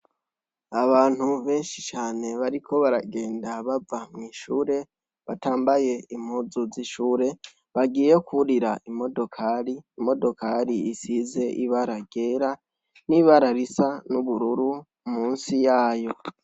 Abantu benshi cane bariko baragenda bava mwishure batambaye impuzu z'ishure bagiye kwurira imodokari, imodokari isize ibara ryera n'ibara risa n'ubururu munsi yayo.